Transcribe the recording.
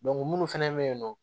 minnu fana bɛ yen nɔ